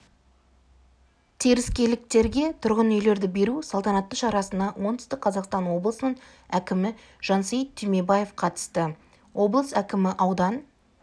теріскейліктерге тұрғын үйлерді беру салтанатты шарасына оңтүстік қазақстан облысының әкімі жансейіт түймебаев қатысты облыс әкімі аудан